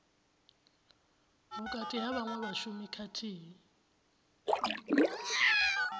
vhukati ha vhaṅwe vhashumi khathihi